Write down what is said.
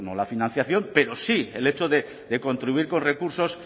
la financiación pero sí el hecho de contribuir con recursos